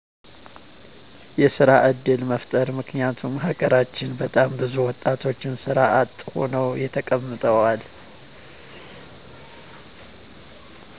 የስራ ዕድል መፍጠር ምክንያቱም ሀገራችን በጣም ብዙ ወጣቶች ስራ አጥ ሁነው ተቀምጠዋል